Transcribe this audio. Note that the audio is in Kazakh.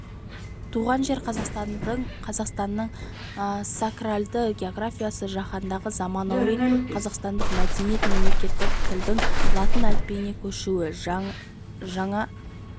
туған жер қазақстанның сакральді географиясы жаһандағы заманауи қазақстандық мәдениет мемлекеттік тілдің латын әліпбиіне көшуі жаңа